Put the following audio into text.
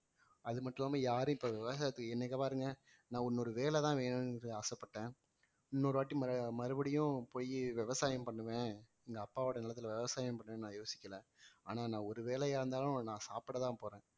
அது மட்டும் இல்லாம யாரும் இப்ப விவசாயத்துக்கு இன்னைக்கு பாருங்க நான் இன்னொரு வேலைதான் வேணும்னு ஆசைப்பட்டேன் இன்னொரு வாட்டி ம~ மறுபடியும் போயி விவசாயம் பண்ணுவேன் எங்க அப்பாவோட நெலத்துல விவசாயம் பண்ணுவேன்னு நான் யோசிக்கல ஆனா நான் ஒரு வேலையா இருந்தாலும் நான் சாப்பிடத்தான் போறேன்